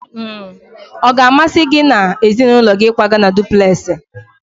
Ọ ga-amasị gị na ezinụlọ gị ịkwaga na dupulesi?